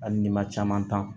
Hali n'i ma caman